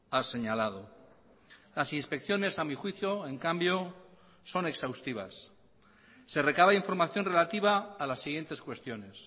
ha señalado las inspecciones a mi juicio en cambio son exhaustivas se recaba información relativa a las siguientes cuestiones